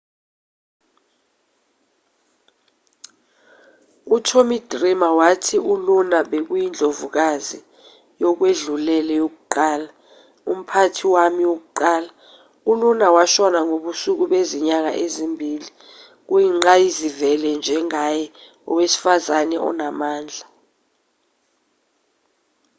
utommy dreamer wathi uluna bekuyindlovukazi yokwedlulele yokuqala umphathi wami wokuqala uluna washona ngobusuku bezinyanga ezimbili kuyingqayizivele njengaye owesifazane onamandla